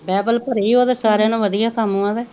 Bible ਭਰੀ ਉਹ ਤੇ ਸਾਰਿਆਂ ਨੋ ਵਧੀਆ ਕੰਮ ਵਾ ਤੇ।